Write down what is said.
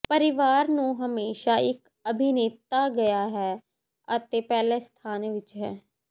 ਪਰਿਵਾਰ ਨੂੰ ਹਮੇਸ਼ਾ ਇੱਕ ਅਭਿਨੇਤਾ ਗਿਆ ਹੈ ਅਤੇ ਪਹਿਲੇ ਸਥਾਨ ਵਿੱਚ ਹੈ